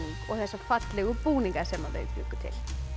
og þessa fallegu búninga sem þau bjuggu til